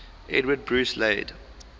edward bruce laid